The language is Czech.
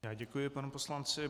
Já děkuji panu poslanci.